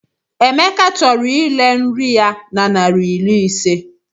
Emeka chọrọ ire nri ya na naira iri ise.